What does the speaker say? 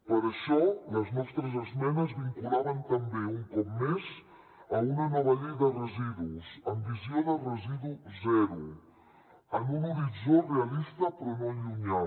per això les nostres esmenes es vinculaven també un cop més a una nova llei de residus amb visió de residu zero en un horitzó realista però no llunyà